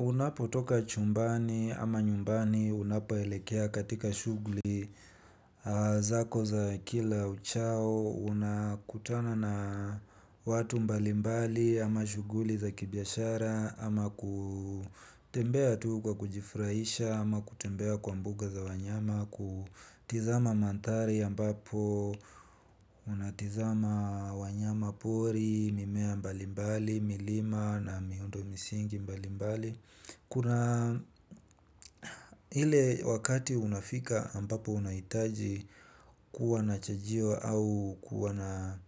Unapotoka chumbani ama nyumbani unapoelekea katika shughuli zako za kila uchao unakutana na watu mbalimbali ama shughuli za kibiashara ama kutembea tu kwa kujifrahisha ama kutembea kwa mbuga za wanyama kutizama manthari ambapo unatizama wanyama pori, mimea mbalimbali, milima na miundo misingi mbalimbali. Kuna ile wakati unafika ambapo unahitaji kuwa na chajio au kuwa na